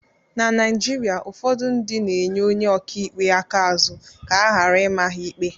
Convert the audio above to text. Na Naijirịa, ụfọdụ ndị na-enye Onye ọka ikpe aka azụ ka a ghara ịma ha ikpe